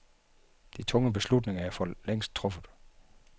De tunge beslutninger er forlængst truffet.